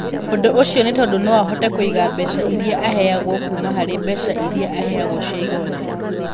Ũndũ ũcio nĩ tondũ no ahote kũiga mbeca iria aheagwo kuuma harĩ mbeca iria aheagwo cia igoti.